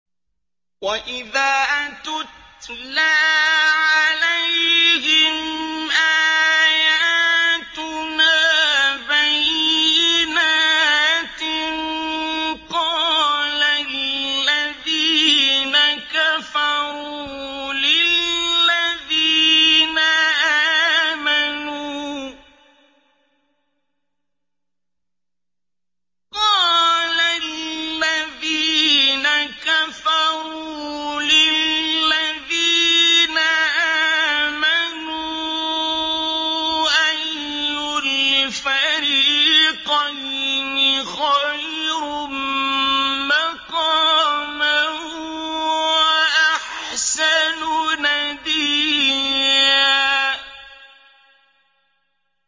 وَإِذَا تُتْلَىٰ عَلَيْهِمْ آيَاتُنَا بَيِّنَاتٍ قَالَ الَّذِينَ كَفَرُوا لِلَّذِينَ آمَنُوا أَيُّ الْفَرِيقَيْنِ خَيْرٌ مَّقَامًا وَأَحْسَنُ نَدِيًّا